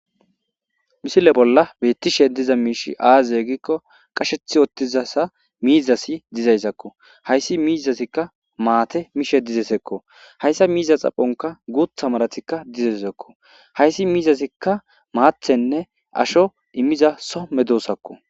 Misile bola betishe diza mishshey aze gizayisa gidikko qasheti uttida mizazi dizayisakko hayisi mizazikka mata mishshe dizayisakko hayisa mizaza xaphonikka guththa marazikka dizayisakko hayisi mizazi maththanne ashsho imiza Soho medosatakko